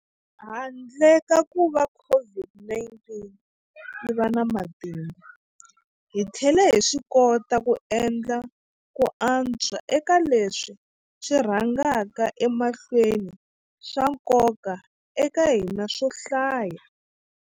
Handle ka kuva COVID-19 yi va na matimba, hi tlhele hi swikota ku endla ku antswa eka leswi swi rhangaka emahlweni swa nkoka eka hina swo hlaya.